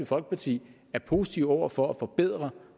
folkeparti er positiv over for at forbedre